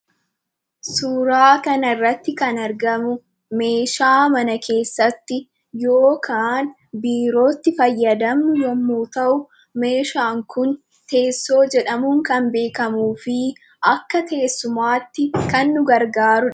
Suura kana irratti kan argamu meeshaa mana keessatti yookaan biirootti fayyadamnu yommuu, ta'u meeshaan kun teessoo jedhamuun kan beekamuu fi akka teessumaatti kan nu gargaarudha.